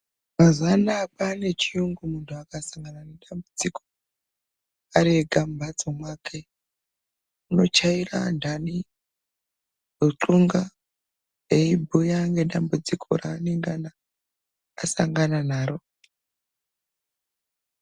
Mazuwa anaya kwaane chiyungu muntu akasangana nedzambudziko, ari ega mumhatso mwake, unochaira antani, ruxunga, eibhuya ngedambudziko reanengana asangana naro.